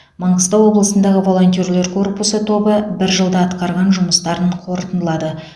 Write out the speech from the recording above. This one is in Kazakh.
маңғыстау облысындағы волонтерлар корпусы тобы бір жылда атқарған жұмыстарын қорытындылады